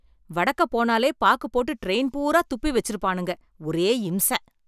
வடக்கப் போனாலே, பாக்கு போட்டு ட்ரெயின் பூராத் துப்பி வெச்சிருப்பானுங்க, ஒரே இம்ச.